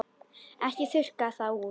Ekki þurrka það út.